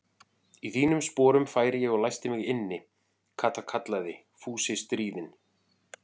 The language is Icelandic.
Í þínum sporum færi ég og læsti mig inni, Kata kallaði Fúsi stríðinn.